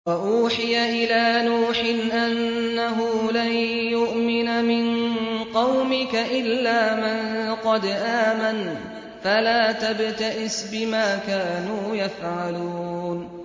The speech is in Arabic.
وَأُوحِيَ إِلَىٰ نُوحٍ أَنَّهُ لَن يُؤْمِنَ مِن قَوْمِكَ إِلَّا مَن قَدْ آمَنَ فَلَا تَبْتَئِسْ بِمَا كَانُوا يَفْعَلُونَ